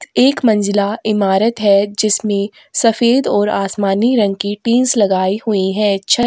एक मंजिला इमारत है जिसमें सफेद और आसमानी रंग के टींस लगाई हुई है छत--